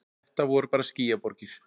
Þetta voru bara skýjaborgir.